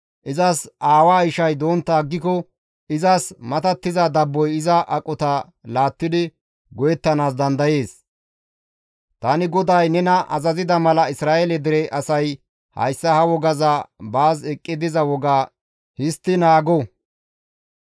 Izas aawa ishay dontta aggiko izas matattiza dabboy iza aqota laattidi go7ettanaas dandayees; tani GODAY nena azazida mala Isra7eele dere asay hayssa ha wogaza baas eqqi diza woga histti naago.»